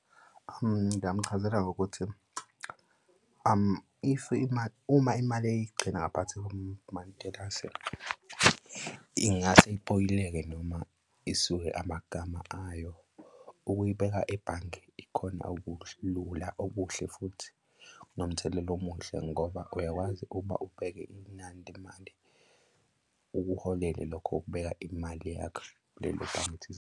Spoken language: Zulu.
Ngingamuchazela ngokuthi if imali, uma imali eyigcina ngaphathi komatilasi ingase ipoyileke noma isuke amagama ayo. Ukuyibeka ebhange ikhona okulula okuhle futhi nomthelela omuhle ngoba uyakwazi ukuba ubheke inani lemali ukuholele lokho ukubeka imali yakho kulelo bhange thizeni.